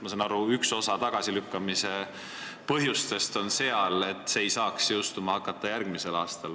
Ma saan aru, et üks tagasilükkamise põhjus on see, et seadus ei saaks jõustuda järgmisel aastal.